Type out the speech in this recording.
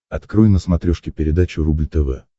открой на смотрешке передачу рубль тв